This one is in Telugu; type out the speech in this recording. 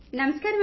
phone call 2